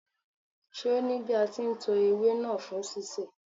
Ṣé o ní bí a ti ń to ewé náà fún sísè.